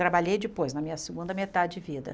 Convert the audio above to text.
Trabalhei depois, na minha segunda metade de vida.